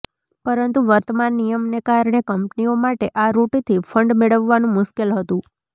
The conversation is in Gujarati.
પરંતુ વર્તમાન નિયમને કારણે કંપનીઓ માટે આ રૂટથી ફંડ મેળવવાનું મુશ્કેલ હતું